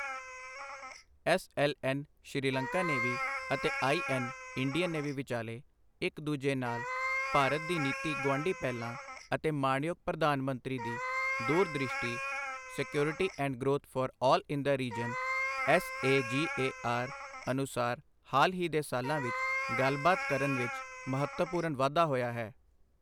S L N Sri Lanka navy ਅਤੇ I N Indian navy ਵਿਚਾਲੇ ਇੱਕ ਦੂਜੇ ਨਾਲ ਭਾਰਤ ਦੀ ਨੀਤੀ ਗੁਆਢੀ ਪਹਿਲਾਂ ਅਤੇ ਮਾਣਯੋਗ ਪ੍ਰਧਾਨ ਮੰਤਰੀ ਦੀ ਦੂਰ ਦ੍ਰਿਸ਼ਟੀ security and growth for all in the reason S A ਜੀ ਏ ਆਰ ਅਨੁਸਾਰ ਹਾਲ ਹੀ ਦੇ ਸਾਲਾਂ ਵਿੱਚ ਗੱਲਬਾਤ ਕਰਨ ਵਿੱਚ ਮਹੱਤਵਪੂਰਨ ਵਾਧਾ ਹੋਇਆ ਹੈ।